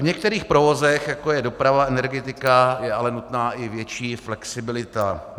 V některých provozech, jako je doprava, energetika, je ale nutná i větší flexibilita.